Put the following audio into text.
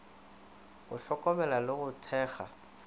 go hlokomela le go thekga